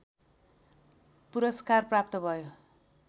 पुरस्कार प्राप्त भयो